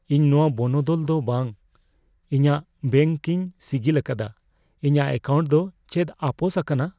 ᱤᱧ ᱱᱚᱶᱟ ᱵᱚᱱᱚᱫᱚᱞ ᱫᱚ ᱵᱟ ᱾ ᱤᱧᱟᱹᱜ ᱵᱮᱱᱠ ᱹᱧ ᱥᱤᱜᱤᱞ ᱟᱠᱟᱫᱟ ᱾ ᱤᱧᱟᱜ ᱮᱠᱟᱣᱱᱴ ᱫᱚ ᱪᱮᱫ ᱟᱯᱳᱥ ᱟᱠᱟᱱᱟ ?